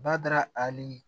Bada ali